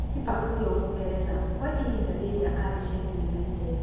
Kipa ũcio mũngeretha kwa ihinda rĩrĩa arĩ Sheffield United